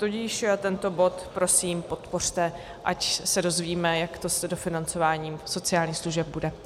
Tudíž tento bod, prosím, podpořte, ať se dozvíme, jak to s dofinancováním sociálních služeb bude.